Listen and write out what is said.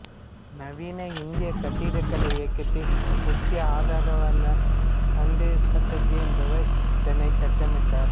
நவீன இந்திய கட்டிடக்கலை இயக்கத்தின் முக்கிய ஆதரவாளரான சந்திர சாட்டர்ஜி என்பவர் இதனை கட்டமைத்தார்